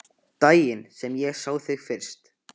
Daginn sem ég sá þig fyrst.